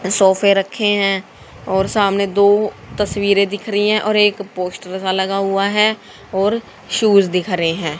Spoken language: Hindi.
सोफे रखे हैं और सामने दो तस्वीरें दिख रही हैं और एक पोस्टर सा लगा हुआ है और शूज दिख रहे हैं।